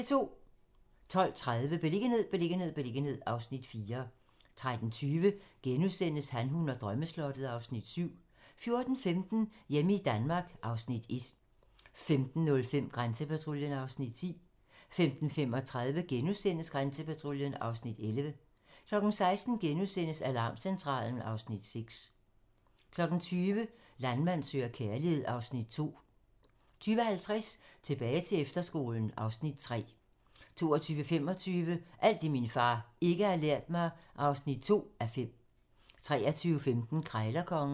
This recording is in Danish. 12:30: Beliggenhed, beliggenhed, beliggenhed (Afs. 4) 13:20: Han, hun og drømmeslottet (Afs. 7)* 14:15: Hjemme i Danmark (Afs. 1) 15:05: Grænsepatruljen (Afs. 10) 15:35: Grænsepatruljen (Afs. 11)* 16:00: Alarmcentralen (Afs. 6)* 20:00: Landmand søger kærlighed (Afs. 2) 20:50: Tilbage til efterskolen (Afs. 3) 22:25: Alt det, min far ikke har lært mig (2:5) 23:15: Krejlerkongen